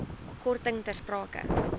korting ter sprake